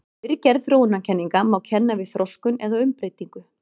Fyrri gerð þróunarkenninga má kenna við þroskun eða umbreytingu.